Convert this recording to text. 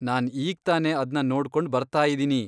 ನಾನ್ ಈಗ್ತಾನೆ ಅದ್ನ ನೋಡ್ಕೊಂಡ್ ಬರ್ತಾಯಿದಿನಿ.